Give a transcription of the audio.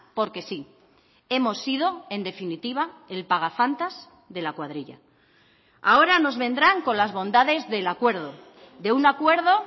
porque sí hemos sido en definitiva el pagafantas de la cuadrilla ahora nos vendrán con las bondades del acuerdo de un acuerdo